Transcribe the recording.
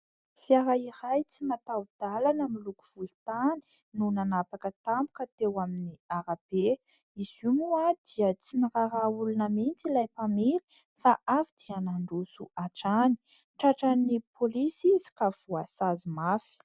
Fiara iray tsy matao-dalana miloko volontany no nanapaka tampoka teo amin'ny arabe, izy io moa dia tsy niraraha olona mihitsy ilay mpamily fa avy dia nandroso hatrany tratran' ny polisy izy ka voasazy mafy.